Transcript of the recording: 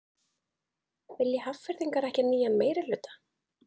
Vilja Hafnfirðingar ekki nýjan meirihluta?